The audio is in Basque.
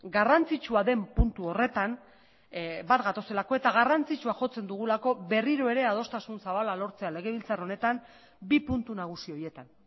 garrantzitsua den puntu horretan bat gatozelako eta garrantzitsua jotzen dugulako berriro ere adostasun zabala lortzea legebiltzar honetan bi puntu nagusi horietan